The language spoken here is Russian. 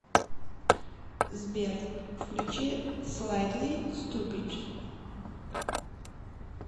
сбер включи слайтли ступид